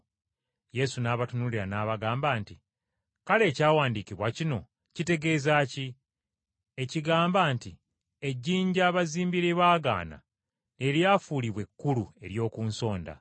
Yesu n’abatunuulira n’abagamba nti, “Kale ekyawandiikibwa kino kitegeeza ki? Ekigamba nti, “ ‘Ejjinja abazimbi lye baagaana, lye lifuuse ejjinja ekkulu ery’oku nsonda.’